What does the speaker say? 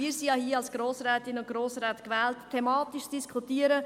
Wir sind hier als Grossrätinnen und Grossräte gewählt, um thematisch zu diskutieren.